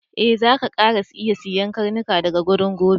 E, zaka kara iya siyan karnuka daga wurina gobe.